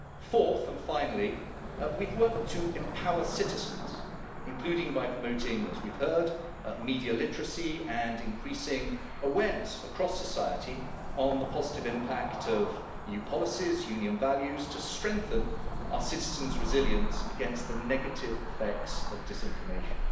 Fourth and finally, we have worked to empower citizens, including by promoting, as we've heard, media literacy and increasing awareness across society on the positive impact of EU policies, Union values, to strengthen our citizens' resilience against the negative effects of disinformation.